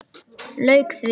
Lauk því.